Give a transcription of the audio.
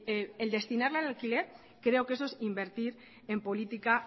el destinarla en alquiler creo que eso es invertir en política